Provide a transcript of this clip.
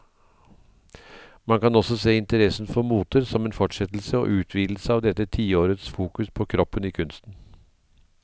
Man kan også se interessen for moter som en fortsettelse og utvidelse av dette tiårets fokus på kroppen i kunsten.